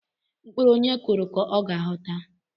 Mkpụrụ onye kuru ka ọ ga-aghọta